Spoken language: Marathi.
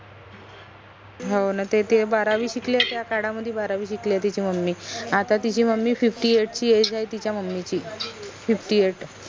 हो न ते ते बारावी शकले त्या काडा मदि बारावी शिकले तिची mummy आता तिची mummyfiftyeight ची age आहे तिच्या mummy ची fiftyeight